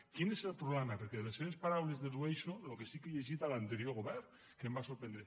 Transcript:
quin és el problema perquè de les seves paraules dedueixo el que sí que he llegit a l’anterior govern que em va sorprendre